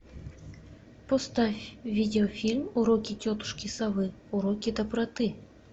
поставь видеофильм уроки тетушки совы уроки доброты